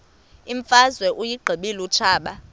imfazwe uyiqibile utshaba